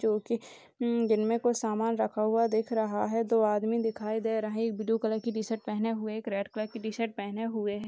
जो की जिनमे सामान रखा हुआ दिख रहा है दो आदमी दिखाई दे रहे है एक ब्लू कलर की टी-शर्ट पेहने हुए एक रेड कलर की टी-शर्ट पेहने हुए है ।